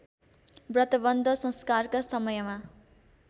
व्रतबन्ध संस्कारका समयमा